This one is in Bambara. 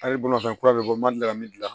Hali bolimafɛn kura bɛ bɔ mali la ka min gilan